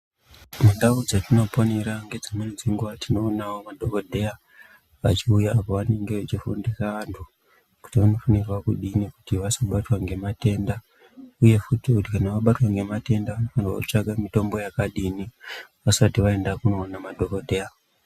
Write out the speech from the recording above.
Mundau dzatinoponera nedzimweni nguwa tinoonawo madhokodheya vachiuya pavanenge vachifundisa vanthu kuti unofanirwa kudini kuti vasabtwa ngematenda uye futi kuti kana wabatwa ngematenda wotsvaka mitombo yakadini vasati vaenda koona madhokodheya.